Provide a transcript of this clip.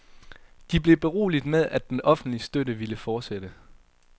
De blev beroliget med, at den offentlige støtte ville fortsætte.